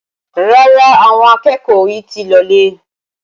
Rárá, àwọn akẹ́kọ̀ọ́ ò yì tí ì lọ lé.